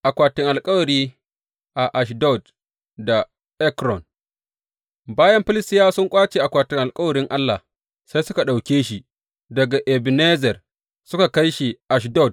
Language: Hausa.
Akwatin alkawari a Ashdod da Ekron Bayan Filistiyawa sun ƙwace akwatin alkawarin Allah, sai suka ɗauke shi daga Ebenezer suka kai shi Ashdod.